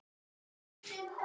Er það ekki í lagi?